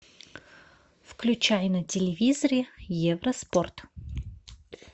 включай на телевизоре евроспорт